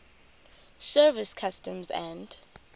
service customs and